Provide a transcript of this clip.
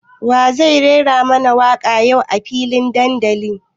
Wa zai rera mana waka yau a filin dandalin?